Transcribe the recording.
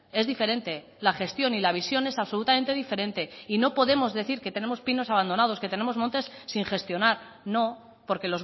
es diferente la gestión y la visión es absolutamente diferente y no podemos decir que tenemos pinos abandonados que tenemos montes sin gestionar no porque